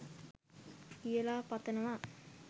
කියලා පතනවා